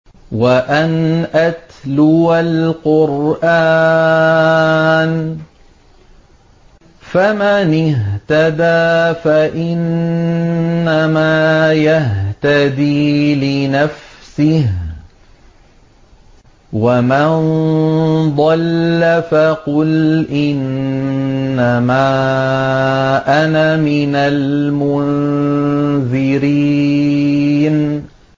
وَأَنْ أَتْلُوَ الْقُرْآنَ ۖ فَمَنِ اهْتَدَىٰ فَإِنَّمَا يَهْتَدِي لِنَفْسِهِ ۖ وَمَن ضَلَّ فَقُلْ إِنَّمَا أَنَا مِنَ الْمُنذِرِينَ